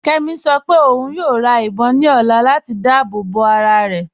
Kẹ́mí ṣọ́ pẹ ọ̀un yóò rá ìbọn ní ọ̀là latí dáàbòbọ arárẹ.